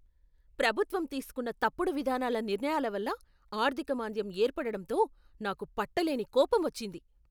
ప్రభుత్వం తీసుకున్న తప్పుడు విధాన నిర్ణయాల వల్ల ఆర్ధిక మాంద్యం ఏర్పడటంతో నాకు పట్టలేని కోపం వచ్చింది.